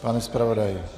Pane zpravodaji.